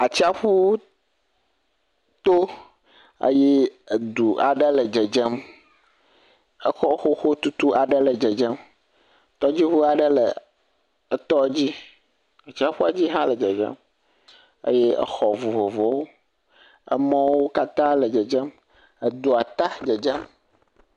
Atsiaƒu to, eye edu aɖe le dzedzem, exɔ xoxo tutu aɖe le dzedzem, tɔdzi ʋu aɖe le etɔ dzi, atsiaƒua dzi hã le dzedzem, eye exɔ vovovowo, emɔ wo kata le dzedzem, edua ta dzedzem.